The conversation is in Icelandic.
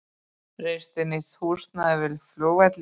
Reisi nýtt húsnæði við flugvöllinn